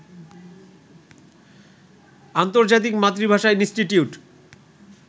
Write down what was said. আন্তর্জাতিক মাতৃভাষা ইনস্টিটিউট